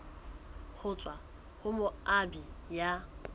ho tswa ho moabi ya